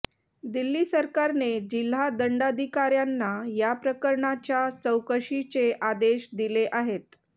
दिल्ली सरकारने जिल्हा दंडाधिकाऱ्यांना याप्रकरणाच्या चौकशीचे आदेश दिले आहेत